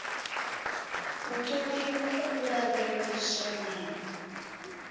u ṱoliwa u lavheleswa na